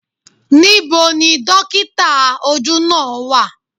Níbo ni dókítà ojú náà á wà.?